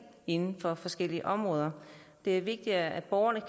inden for forskellige områder det er vigtigt at borgerne